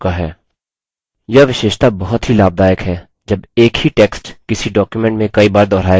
यह विशेषता बहुत ही लाभदायक है जब एक ही text किसी document में कई बार दुहराया जाता है